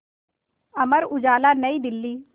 अमर उजाला नई दिल्ली